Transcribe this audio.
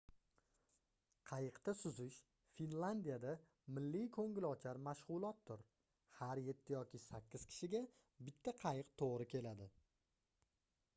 qayiqda suzish finlandiyada milliy koʻngilochar mashgʻulotdir har yetti yoki sakkiz kishiga bitta qayiq toʻgʻri keladi